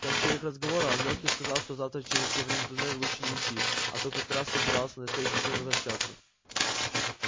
в конце их разговора он лёхе сказал что завтра через северный туннель лучше не идти а тот как раз собирался на следующий день возвращаться